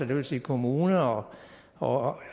vil sige kommuner og